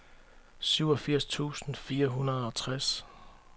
syvogfirs tusind fire hundrede og tres